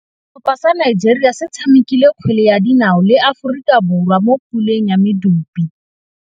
Setlhopha sa Nigeria se tshamekile kgwele ya dinaô le Aforika Borwa mo puleng ya medupe.